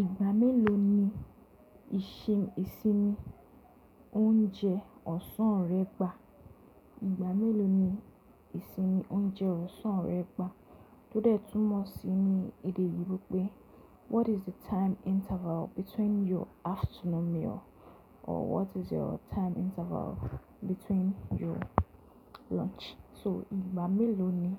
Ìgbà mélòó ni ìsinmi oúnjẹ ọ̀sán rẹ gba? Ìgbà mélòó ni ìsinmi oúnjẹ ọ̀sán rẹ gba? Tó dé tún mọ̀ sí ní èdè Òyìnbó pé “what is the time interval between your afternoon meal or what is your time interval between your lunch”. So ìgbà mélòó ni